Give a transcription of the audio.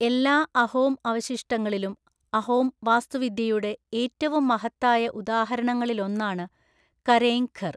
എല്ലാ അഹോം അവശിഷ്ടങ്ങളിലും, അഹോം വാസ്തുവിദ്യയുടെ ഏറ്റവും മഹത്തായ ഉദാഹരണങ്ങളിലൊന്നാണ് കരേങ് ഘർ.